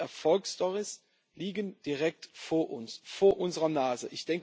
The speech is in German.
Nein, diese Erfolgsstorys liegen direkt vor uns, vor unserer Nase.